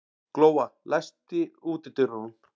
Glóa, læstu útidyrunum.